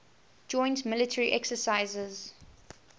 joint military exercises